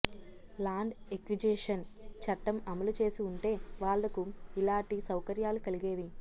land acquisition చట్టం అమలు చేసి వుంటే వాళ్లకు యిలాటి సౌకర్యాలు కలిగేవి